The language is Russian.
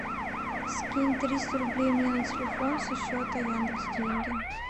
скинь триста рублей мне на телефон со счета яндекс деньги